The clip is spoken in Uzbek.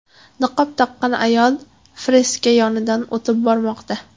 Niqob taqqan ayol freska yonidan o‘tib bormoqda.